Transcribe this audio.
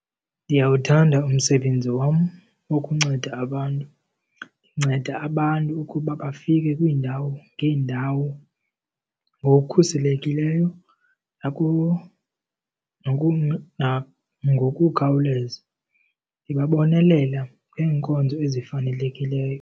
Ndiyawuthanda umsebenzi wam wokunceda abantu. Ndinceda abantu ukuba bafike kwiindawo ngeendawo ngokukhuselekileyo nangokukhawuleza. Ndibabonelela ngeenkonzo ezifanelekileyo.